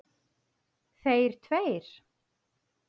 Þeir tveir.